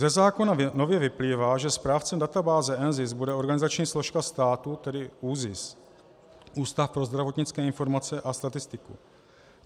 Ze zákona nově vyplývá, že správcem databáze NZIS bude organizační složka státu, tedy ÚZIS, Ústav pro zdravotnické informace a statistiku.